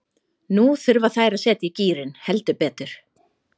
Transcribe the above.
Nú þurfa þær að setja í gírinn, heldur betur.